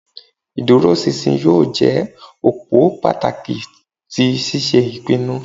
Ìdúróṣinṣin yóò je òpó pàtàkì ti ṣíṣe ìpinnu